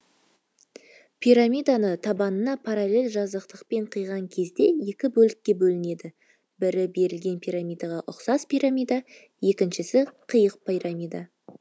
пирамиданы табанына параллель жазықтықпен қиған кезде екі бөлікке бөлінеді бірі берілген пирамидаға ұқсас пирамида екіншісі қиық пирамида